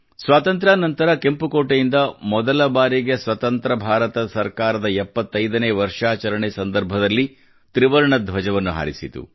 ಸ್ವಾತಂತ್ರ್ಯಾ ನಂತರ ಕೆಂಪು ಕೋಟೆಯಿಂದ ಮೊದಲ ಬಾರಿಗೆ ಸ್ವತಂತ್ರ ಭಾರತದ ಸರ್ಕಾರ 75 ನೇ ವರ್ಷಾಚರಣೆ ಸಂದರ್ಭದಲ್ಲಿ ತ್ರಿವರ್ಣ ಧ್ವಜವನ್ನು ಹಾರಿಸಿತು